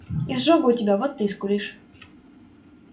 изжога у тебя вот ты и скулишь